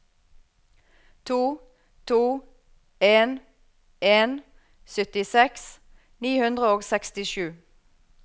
to to en en syttiseks ni hundre og sekstisju